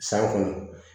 San kɔnɔ